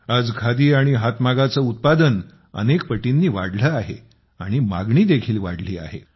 आज खादी आणि हातमागाचे उत्पादन अनेक पटींनी वाढले आहे आणि मागणी देखील वाढली आहे